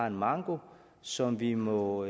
en manko som vi må